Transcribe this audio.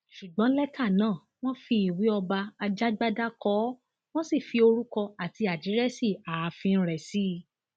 ṣùgbọn lẹtà náà wọn fi ìwé ọba ajàgbádá kọ ọ wọn sì fi orúkọ àti àdírẹsì ààfin rẹ sí i